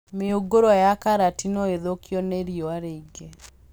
Mĩũngũrwa ya karati no ĩthũkio nĩ riũa rĩingĩ